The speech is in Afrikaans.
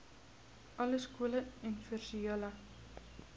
alle skole universele